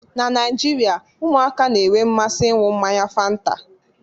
Na Naijirịa, ụmụaka na-enwe mmasị ịñu mmanya fanta